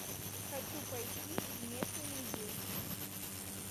хочу пойти в местный музей